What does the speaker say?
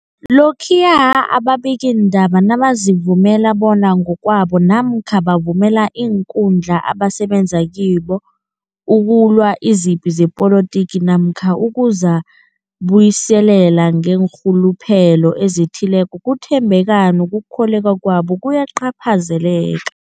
Lokhuya ababikiindaba nabazivumela bona ngokwabo namkha bavumele iinkundla abasebenza kizo ukulwa izipi zepolitiki namkha ukuzi buyiselela ngeenrhuluphelo ezithileko, ukuthembeka nokukholweka kwabo kuyacaphazeleka.